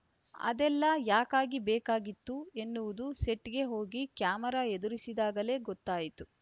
ಅದೆಲ್ಲ ಯಾಕಾಗಿ ಬೇಕಾಗಿತ್ತು ಎನ್ನುವುದು ಸೆಟ್‌ಗೆ ಹೋಗಿ ಕ್ಯಾಮರಾ ಎದುರಿಸಿದಾಗಲೇ ಗೊತ್ತಾಯಿತು